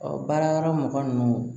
Ɔ baara yɔrɔ mɔgɔnin